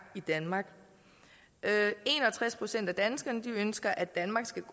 i danmark en og tres procent af danskerne ønsker at danmark skal